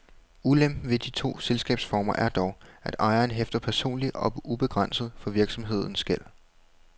Ulempen ved de to selskabsformer er dog, at ejeren hæfter personligt og ubegrænset for virksomhedens gæld.